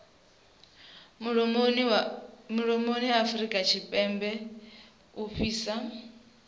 mulomoni afurika tshipembe u fhasi